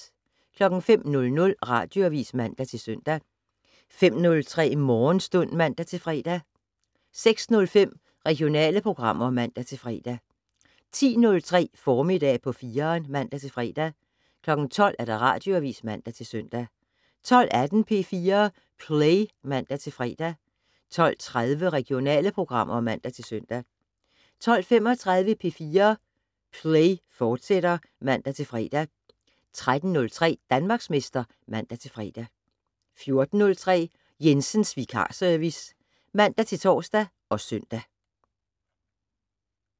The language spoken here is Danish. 05:00: Radioavis (man-søn) 05:03: Morgenstund (man-fre) 06:05: Regionale programmer (man-fre) 10:03: Formiddag på 4'eren (man-fre) 12:00: Radioavis (man-søn) 12:18: P4 Play (man-fre) 12:30: Regionale programmer (man-søn) 12:35: P4 Play, fortsat (man-fre) 13:03: Danmarksmester (man-fre) 14:03: Jensens Vikarservice (man-tor og søn)